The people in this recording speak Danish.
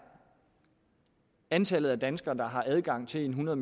antallet af danskere der har adgang til en hundrede